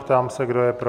Ptám se, kdo je pro?